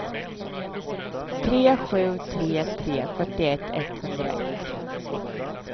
tre sju tre tre fyrtioett etthundraett